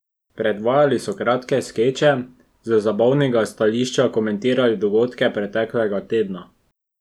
Predvajali so kratke skeče, z zabavnega stališča komentirali dogodke preteklega tedna.